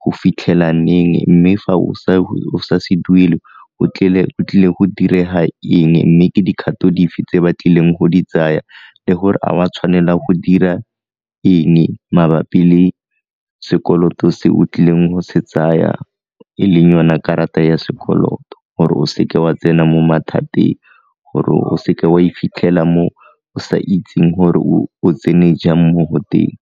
go fitlhela neng mme fa o sa se duele o tlile go direga eng mme ke dikgato dife tse ba tlileng go di tsaya le gore a wa tshwanela go dira eng mabapi le sekoloto se o tlileng go se tsaya e leng yona karata ya sekoloto gore o seke wa tsena mo mathateng, gore o seke wa e fitlhela mo o sa itseng gore o tsene jang mo go teng.